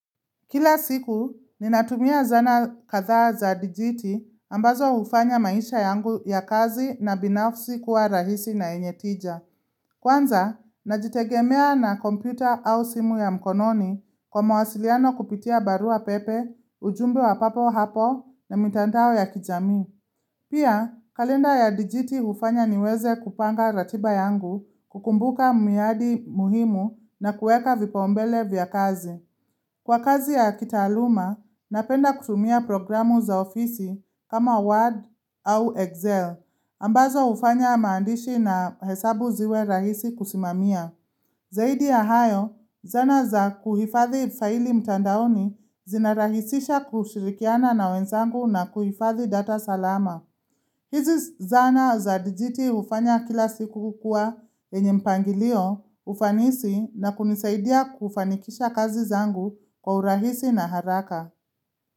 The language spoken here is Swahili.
Kila siku, ninatumia zana kadhaa za dijiti ambazo hufanya maisha yangu ya kazi na binafsi kuwa rahisi na yenye tija. Kwanza, najitegemea na kompyuta au simu ya mkononi kwa mwasiliano kupitia barua pepe, ujumbe wa papo hapo na mitandao ya kijami. Pia, kalenda ya dijiti ufanya niweze kupanga ratiba yangu kukumbuka miadi muhimu na kueka vipaumbele vya kazi. Kwa kazi ya kitaluma, napenda kutumia programu za ofisi kama Word au Excel, ambazo hufanya maandishi na hesabu ziwe rahisi kusimamia. Zaidi ya hayo, zana za kuhifadhi faili mtandaoni zinarahisisha kushirikiana na wenzangu na kuhifadhi data salama. Hizi zana za dijiti ufanya kila siku kukua yenye mpangilio ufanisi na kunisaidia kufanikisha kazi zangu kwa urahisi na haraka.